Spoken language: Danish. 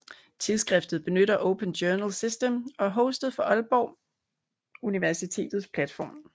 Tidsskriftet benytter Open Journal System og er hostet fra Aalborg Universitets platform